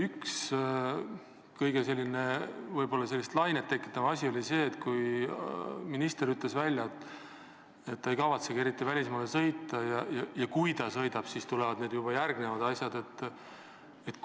Üks kõige enam lainet tekitanud tõsiasi oli see, et minister ütles välja, et ta ei kavatsegi eriti välismaale sõita, ja kui siiski sõidab, siis räägib seal ainult eesti keeles.